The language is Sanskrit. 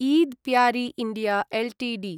Eid Parry India Ltd